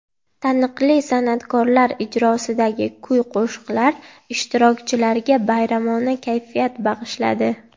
Taniqli san’atkorlar ijrosidagi kuy-qo‘shiqlar ishtirokchilarga bayramona kayfiyat bag‘ishladi.